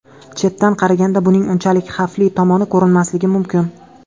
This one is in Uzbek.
Chetdan qaraganda, buning unchalik xavfli tomoni ko‘rinmasligi mumkin.